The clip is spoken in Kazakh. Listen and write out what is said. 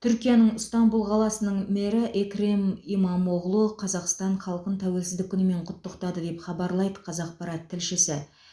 түркияның ыстанбұл қаласының мэрі экрем имамоғлу қазақстан халқын тәуелсіздік күнімен құттықтады деп хабарлайды қазақпарат тілшісі